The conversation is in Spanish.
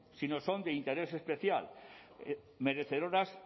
si no son de interés especial merecedoras